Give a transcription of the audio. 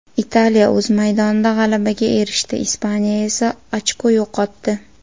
Italiya o‘z maydonida g‘alabaga erishdi, Ispaniya esa ochko yo‘qotdi.